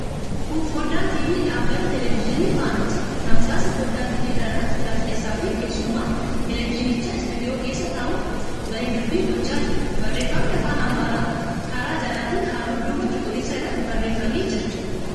Kun foddaa TV dhaabbata teeleviizyinii 'Fana'ti. Tamsaasa foddaa TV kana irratti gaazexeessaafi keessummaan teeleviizyinichaa istuudiyoo keessa taa'uun waliin dubbii gochaa jiru. Barreeffamni afaan Amaaraan karaa jalaatiin halluu duubaa cuquliisaa irratti barreeffamee jira.